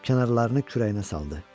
Kənarlarını kürəyinə saldı.